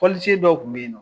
Fɔlisen dɔw kun bɛ yen nɔ